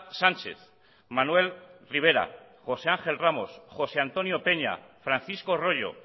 sánchez manuel rivera josé ángel ramos josé antonio peña francisco rollo